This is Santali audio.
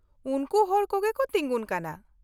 -ᱩᱱᱠᱩ ᱦᱚᱲ ᱠᱚᱜᱮ ᱠᱚ ᱛᱤᱸᱜᱩᱱ ᱠᱟᱱᱟ ᱾